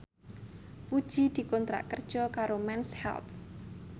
Puji dikontrak kerja karo Mens Health